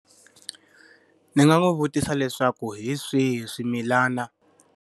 Ni nga n'wi vutisa leswaku hi swihi swimilana?